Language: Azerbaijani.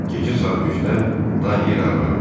Gecə saat 3-də Dan yeri ağarır.